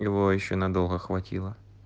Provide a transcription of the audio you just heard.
его ещё надолго хватило